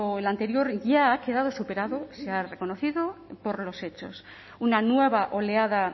el anterior ya ha quedado superado se ha reconocido por los hechos una nueva oleada